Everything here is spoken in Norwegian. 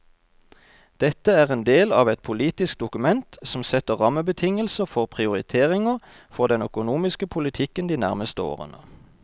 Dette er en del av et politisk dokument som setter rammebetingelser for prioriteringer for den økonomiske politikken de nærmeste årene.